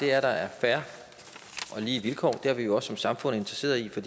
er at der er fair og lige vilkår det er vi jo også som samfund interesseret i for